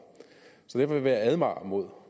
så derfor vil jeg advare mod